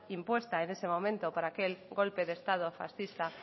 impuesta en ese momento por aquel golpe de estado fascista